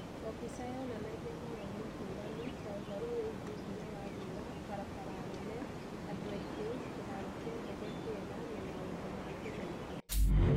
O mbica yonanagia mawoni ngũrani, ta ũhoro wĩgiĩ hinya wa riũa, barabara nene, andũ aingĩ, kĩhaaro kĩa ndege kĩega, na maũndũ mangĩ maingĩ.